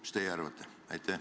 Mis teie arvate?